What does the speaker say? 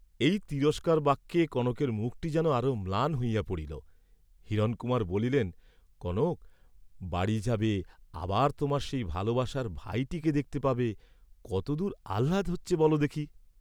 এই তিরস্কার বাক্যে কনকের মুখটি যেন আরো ম্লান হইয়া পড়িল; হিরণকুমার বলিলেন, "কনক, বাড়ি যাবে, আবার তােমার সেই ভালবাসার ভাইটিকে দেখতে পাবে, কতদূর আহ্লাদ হচ্ছে, বল দেখি।"